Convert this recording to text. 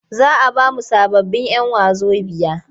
Za a ba mu sababbin'yan wazobiya.